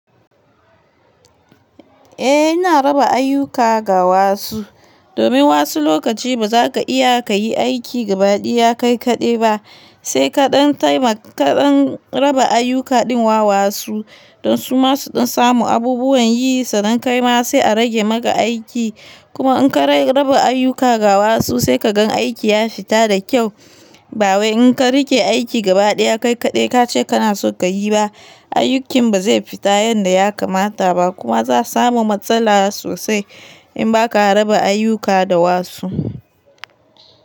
Eh ina raba ayuka ga wasu, domin wasu lokaci ba za ka iya ka yi aiki gabaɗiya kai kaɗai ba, sai kaɗan taimaka, kaɗan raba ayuka din wa wasu, don su masu samun abubuwan yi, sannan kai ma sai a rage maka aiki. Kuma in ka raba ayuka ga wasu sai ka gan aiki ya fita da kyau. Ba wai in ka riƙe aiki gabaɗaya kai kaɗai kace kana son ka yi ba, aikin ba zai fita yanda ya kamata ba kuma za samu matsala sosai in ba ka raba ayuka da wasu.